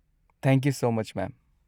Thank you so much, ma'am.